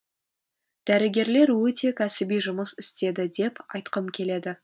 дәрігерлер өте кәсіби жұмыс істеді деп айтқым келеді